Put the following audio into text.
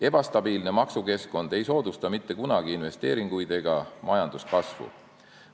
Ebastabiilne maksukeskkond ei soodusta mitte kunagi investeeringuid ega majanduskasvu.